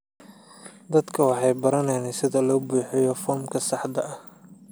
Dadku waxay baranayaan sida loo buuxiyo foomka saxda ah.